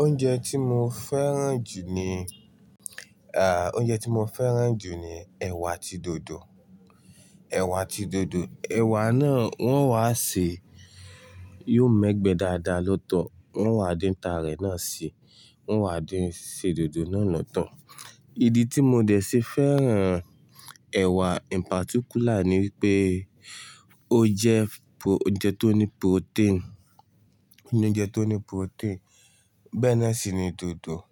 Oúnjẹ tí mo fẹ́ràn jù ni, oúnjẹ tí mo fẹ́ràn jù ni ẹ̀wà ati dodo. Ẹ̀wà ati dodo, ẹ̀wà náà wọ́n wá ṣe, yóò mẹ́gbẹ́ dáadáa lọ́tọ̀, wọ́n wá dín ta rẹ̀ náà si, wọ́n wá dín se dodo náà lọ́tọ̀. Ìdí tí mo dẹ̀ ṣe fẹ́ràn ẹ̀wà in particular ni wípé ó jẹ́ oúnjẹ tó ní protein, ní oúnjẹ tó ní protein. Bẹ́ẹ́ náà sì ni dodo.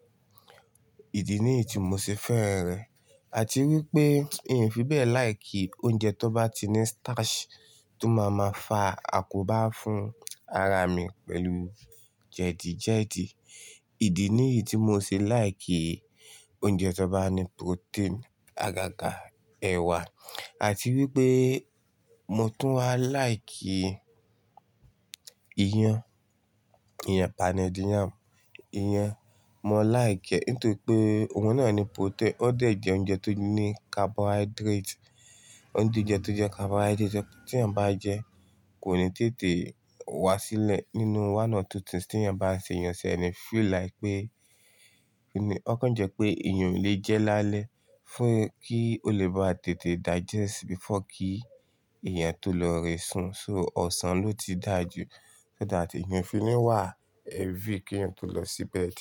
Ìdí nìyí tí mo ṣe fẹ́ràn rẹ̀. Àti wípé ì fi bẹ́ẹ̀ like oúnjẹ tó bá ti ní starch tó máa máa fa àkóbá fún ara mi pẹ̀lú jẹ̀dí jẹ̀dí. Ìdí nìyí tí mo ṣe like oúnjẹ tó bá ní protein, àgàgà ẹ̀wà. Àti wípé mo tún wá like iyán, iyen poundedi yam, iyen Mo like ẹ́ nítorí pé oun náà ní protein, ó dẹ̀ jẹ́ oúnjẹ tó ní carbohydrate. Ó ń di oúnjẹ tó jẹ́ carbohydrate tí èyàn bá jẹ kò ní tètè wá sílẹ̀ nínú one or two things tí èyàn bá ṣe èyàn tí ẹni feel like pé, ó kán jẹ́ pé èyàn ò lè jẹ́ lálẹ́ fún kí ó lè bá tètè digest before kí ẹ̀yán tó lọ rẹ̀ sun. So ọ̀sán ló ti dáa jù. Kí ó dà tí ẹni fi ní wà heavy kí èyàn tó lọ sí bed.